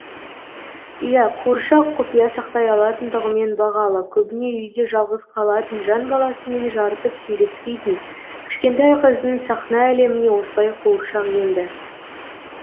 иә қуыршақ құпия сақтай алатындығымен бағалы көбіне үйде жалғыз қалатын жан баласымен жарытып сөйлеспейтін кішкентай қыздың сахна әлеміне осылай қуыршақ енді